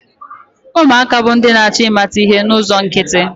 Ụmụaka bụ ndị na-achọ ịmata ihe n'ụzọ nkịtị.